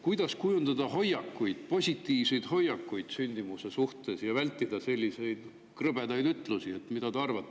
Kuidas kujundada positiivseid hoiakuid sündimuse suhtes ja vältida selliseid krõbedaid ütlusi?